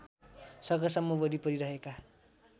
सकेसम्म वरिपरी रहेका